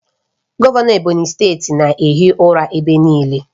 Gọvanọ Ebonyi steeti na-ehi ụra ebe niile